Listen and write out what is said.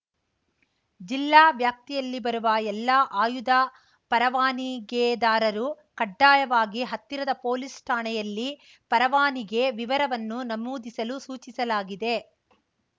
ಜಿಲ್ಲಾ ವ್ಯಾಪ್ತಿಯಲ್ಲಿ ಬರುವ ಎಲ್ಲ ಆಯುಧ ಪರವಾನಿಗೆದಾರರು ಕಡ್ಡಾಯವಾಗಿ ಹತ್ತಿರದ ಪೊಲೀಸ್‌ ಠಾಣೆಯಲ್ಲಿ ಪರವಾನಿಗೆ ವಿವರವನ್ನು ನಮೂದಿಸಲು ಸೂಚಿಸಲಾಗಿದೆ